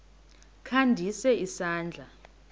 kha ndise isandla